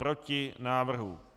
Proti návrhu.